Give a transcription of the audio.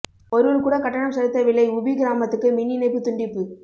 ஒருவர் கூட கட்டணம் செலுத்தவில்லை உபி கிராமத்துக்கு மின் இணைப்பு துண்டிப்பு